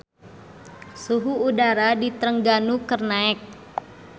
Suhu udara di Trengganu keur naek